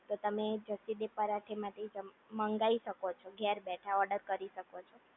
તો તેમ જસીદે પરાઠે માંથી મંગાઈ શકો છો ધરે બેઠા ઓર્ડર કરી શકો છો